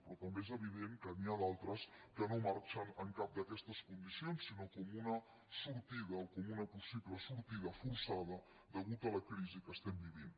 però també és evident que n’hi ha d’altres que no marxen amb cap d’aquestes condicions sinó com una sortida o com una possible sortida forçada a causa de la crisi que estem vivint